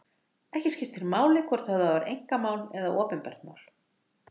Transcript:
Ekki skiptir máli hvort höfðað var einkamál eða opinbert mál.